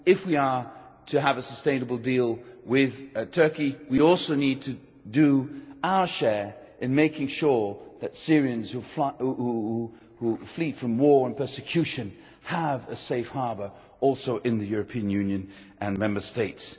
If we are to have a sustainable deal with Turkey, we also need to do our share in making sure that Syrians who flee from war and persecution have a safe harbour also in the European Union and in Member States.